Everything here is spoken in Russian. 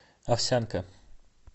овсянка